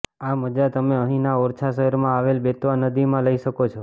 આ મજા તમે અહીંના ઓરછા શહેરમાં આવેલ બેતવા નદીમાં લઈ શકો છો